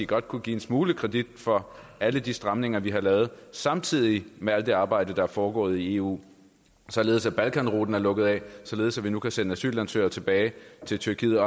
godt kunne give en smule kredit for alle de stramninger vi har lavet samtidig med alt det arbejde der er foregået i eu således at balkanruten er lukket af således at vi nu kan sende asylansøgere tilbage til tyrkiet